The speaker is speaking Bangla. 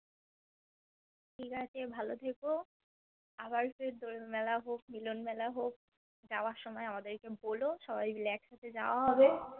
ঠিকাছে ভালো থেকো আবার ফির দোল মেলাহোক মিলন মেলাহোক যাওয়ার সময় আমাদেরকে বোলো সবাই মিলে একসাথে জবাহবে